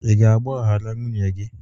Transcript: Ị ga-agbaghara nwunye gị?